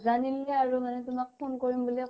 নাজানিলে মানে তোমাক phone কৰিম বুলি